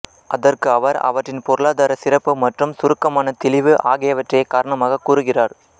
அதற்கு அவர் அவற்றின் பொருளாதார சிறப்பு மற்றும் சுருக்கமான தெளிவு ஆகியவற்றையே காரணமாகக் கூறுகிறார்